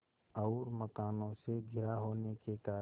और मकानों से घिरा होने के कारण